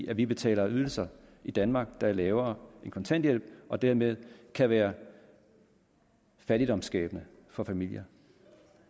at vi betaler ydelser i danmark der er lavere end kontanthjælp og dermed kan være fattigdomsskabende for familier